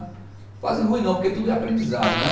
Fase ruim não, porque tudo é aprendizado, né?